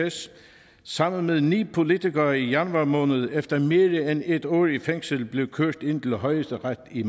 sammen med ni politikere i januar måned efter mere end et år i fængsel blev kørt ind til højesteret i